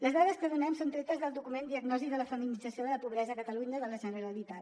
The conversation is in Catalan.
les dades que donem són tretes del document diagnosi de la feminització de la pobresa a catalunya de la generalitat